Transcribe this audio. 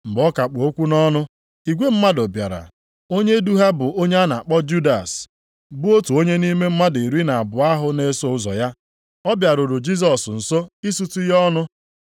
Mgbe ọ ka kpụ okwu nʼọnụ, igwe mmadụ bịara, onye du ha bụ onye a na-akpọ Judas, bụ otu nʼime mmadụ iri na abụọ ahụ na-eso ụzọ ya. Ọ bịaruru Jisọs nso, isutu ya ọnụ.